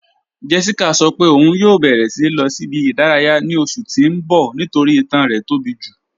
Jéṣíkà sọ́ pẹ̀ ọun yọ̀ bẹ̀rẹ̀ lilọ̀ sí ibi-idaraya ní oṣù tí n bọ̀ nítorí ìtàn rẹ̀ tó bí ju